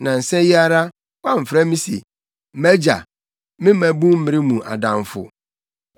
Nnansa yi ara, woamfrɛ me se: ‘Mʼagya, me mmabunmmere mu adamfo,